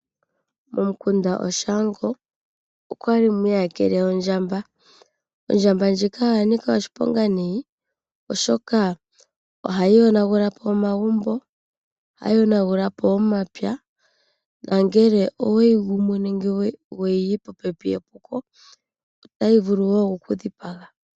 Momukunda Oshaango okwa li mwi iyakele ondjamba. Ondjamba ndjika oya nika oshiponga nayi, oshoka ohayi yonagula po omagumbo. Ohayi yonagula po omapya nongele oweyi gumu nenge weyi yi popepi epuko otayi vulu wo oku ku dhipaga.